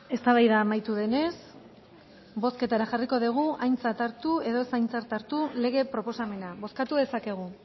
eztabaida amaitu denez bozketara jarriko degu aintzat hartu edo ez aintzat hartu lege proposamena bozkatu dezakegu